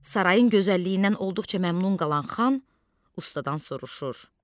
Sarayın gözəlliyindən olduqca məmnun qalan xan ustadan soruşur: